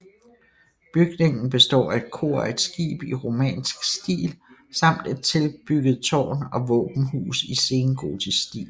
Bygningen består af et kor og et skib i romansk stil samt et tilbygget tårn og våbenhus i sengotisk stil